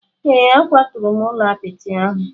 Ee, akwaturu m ụlọ apịtị ahụ.